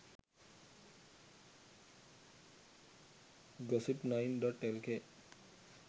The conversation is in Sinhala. gossip9.lk